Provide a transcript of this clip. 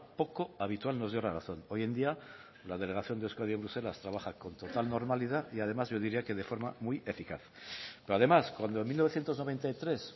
poco habitual nos dio la razón hoy en día la delegación de euskadi en bruselas trabaja con total normalidad y además yo diría que de forma muy eficaz pero además cuando en mil novecientos noventa y tres